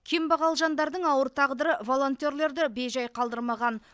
кембағал жандардың ауыр тағдыры волонтерлерді бейжай қалдырмаған